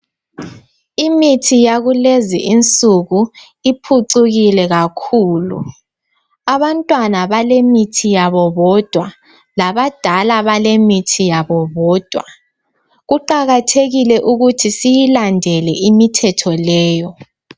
Imithi yakulezinsuku iphucukile kakhulu. Abantwana balemithi yabo bodwa labadala balithi yabo bodwa. Kuqakathekile ukuthi siyilandele imithetho leyo.